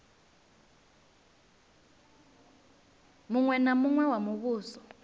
muṅwe na muṅwe wa muvhuso